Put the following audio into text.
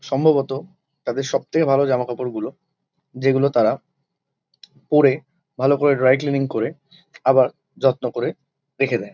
সম্ভবত তাদের সবথেকে ভালো জামাকাপড় গুলো যেগুলো তারা পরে ভালো করে ড্রাই ক্লিনিং করে আবার যত্ন করে রেখে দেয়।